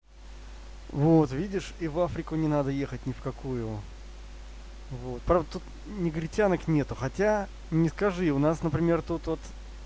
вот видишь и в африку не надо ехать не в какую вот про негритянок нету хотя не скажи у нас например тот